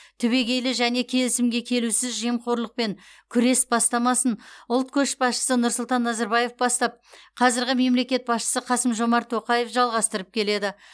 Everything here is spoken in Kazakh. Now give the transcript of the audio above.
түбегейлі және келісімге келусіз жемқорлықпен күрес бастамасын ұлт көшбасшысы нұрсұлтан назарбаев бастап қазіргі мемлекет басшысы қасым жомарт тоқаев жалғастырып келеді